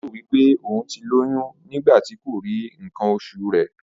Ó rò wí pé òún ti lóyún nígbà tí kò rí ǹǹkan osù rẹ.